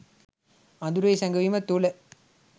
අඳුරෙහි සැඟවීම තුළ